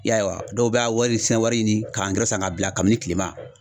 I y'a ye wa dɔw bɛ a wari sisan wari ɲini ka san k'a bila kabini kilema.